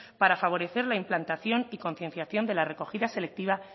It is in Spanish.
para favorecer la implantación y concienciación de la recogida selectiva